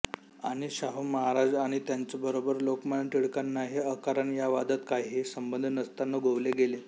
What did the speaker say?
आणि शाहू महाराज आणि त्यांच्यबरोबर लोकमान्य टिळकांनाही अकारण या वादात काहीही संबंध नसताना गोवले गेले